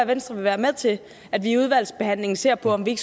venstre vil være med til at vi i udvalgsbehandlingen ser på om vi